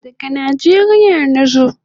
Daga Nijeria nazo